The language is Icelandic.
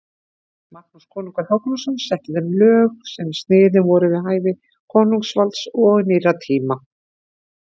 Magnús konungur Hákonarson setti þeim lög sem sniðin voru við hæfi konungsvalds og nýrra tíma.